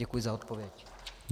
Děkuji za odpověď.